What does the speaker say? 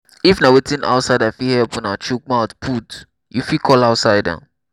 if na wetin outsider fit help una chook mouth put you fit call outsider